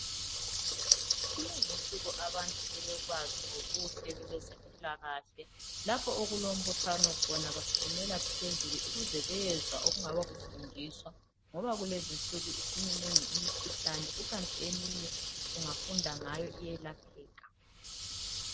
Kulezi insuku abantu sebekwazi ngobuhle bebezempilakahle lapho okulombuthano khona basukumela phezulu ukuze bezwa okungaba kufundiswa ngoba kulezi insuku isiminengi imikhuhlane kukanti eminye ungafunda ngayo iyelapheka.